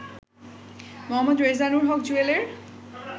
Md Rezanur Haque জুয়েলের